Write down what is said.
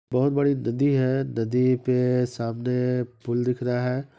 बहुत बड़ी नदी है नदी पे सामने पुल दिख रहा है।